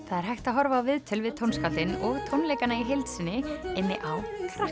það er hægt að horfa á viðtöl við tónskáldin og tónleikana í heild inni á